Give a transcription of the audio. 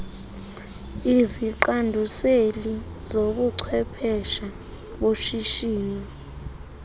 iziqanduseli zobuchwephesha boshishino